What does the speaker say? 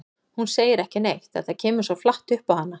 Hún segir ekki neitt, þetta kemur svo flatt upp á hana.